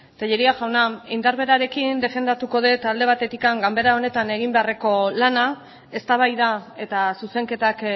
tellería jauna indar berarekin defendatuko dut alde batetik ganbera honetan egin beharreko lana eztabaida eta zuzenketak